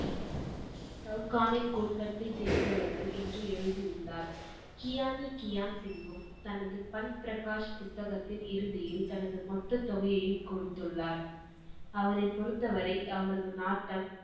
சவ்ஹான்னின் குடும்பத்தை சேர்ந்தவர்கள் என்று எழுதி உள்ளார். கியானி கியான் சிங் தனது பன் பிரகாஷ் புத்தகத்தில் இறுதியில் தனது மொத்த தொகையையும் கொடுத்துள்ளார். அவரை பொறுத்தவரை அவரது நாட்டம்